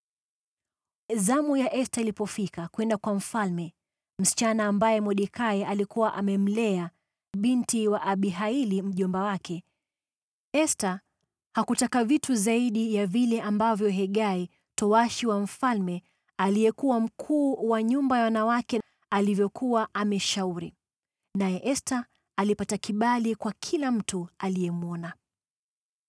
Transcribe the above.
Zamu ya Esta ilipofika kwenda kwa mfalme (msichana ambaye Mordekai alikuwa amemlea, binti wa Abihaili mjomba wake), Esta hakutaka vitu zaidi ya vile ambavyo Hegai, towashi wa mfalme aliyekuwa mkuu wa nyumba ya wanawake alivyokuwa amemshauri. Naye Esta alipata kibali kwa kila mtu aliyemwona.